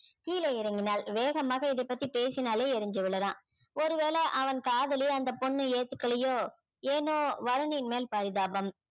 கீழே இறங்கினாள் வேகமாக இதைப் பத்தி பேசினாலே எரிஞ்சு விழறான் ஒரு வேளை அவன் காதலை அந்த பொண்ணு ஏத்துக்கலையோ ஏனோ வருணின் மேல் பரிதாபம்